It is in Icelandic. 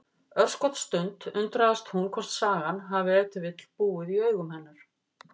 Örskotsstund undrast hún hvort sagan hafi ef til vill búið í augum hennar.